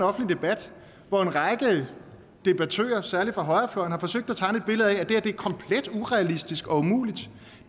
offentlig debat hvor en række debattører særlig fra højrefløjen har forsøgt at tegne et billede af at det her er komplet urealistisk og umuligt